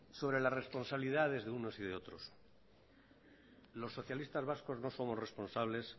sobre la responsabilidad desde unos y de otros los socialistas vascos no somos responsables